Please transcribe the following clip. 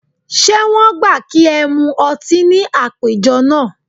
Ṣé wọ́n gbà kí ẹ mu ọtí ní àpéjọ náà?